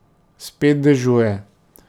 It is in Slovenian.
Spet dežuje.